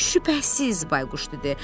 Şübhəsiz, Bayquş dedi.